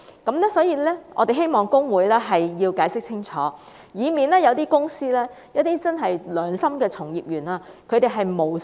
因此，我們希望公會解釋清楚，以免一些公司的良心從業員誤墮法網。